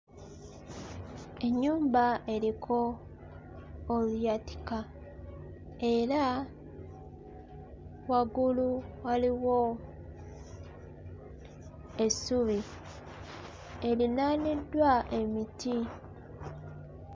Ennyumba eriko oluyatika era waggulu waliwo essubi eriraaniddwa emiti.